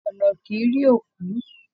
Ọna kìí rí òkú